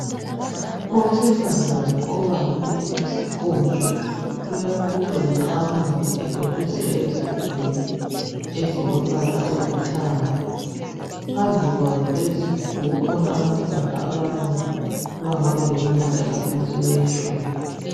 Owesifazana obambe isikotsho uyakotshoza amanzi ekotshozela ezigubhini ezilombala olithanga. Phambi kwazo lezizigubhu kukhona abantwana abane abangaba leminyaka engaphansi kweyetshumi.